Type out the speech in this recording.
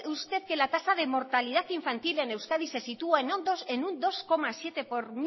usted que la tasa de mortalidad infantil en euskadi se sitúa en un dos coma siete por